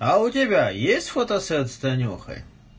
а у тебя есть фотосет с танюхой